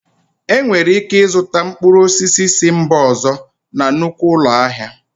Enwere ike ịzụta mkpụrụ osisi si mba ọzọ na nnukwu ụlọ ahịa